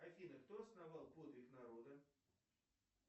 афина кто основал подвиг народа